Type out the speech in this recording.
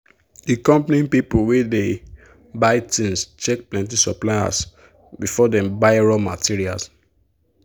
the company people wey dey buy things check plenty suppliers before dem buy raw materials.